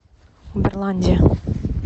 уберландия